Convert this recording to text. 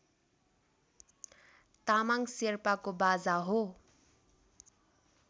तामाङ शेर्पाको बाजा हो